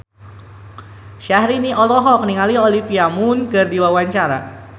Syahrini olohok ningali Olivia Munn keur diwawancara